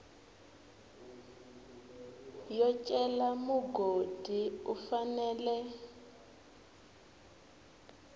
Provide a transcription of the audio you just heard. yo cela mugodi u fanela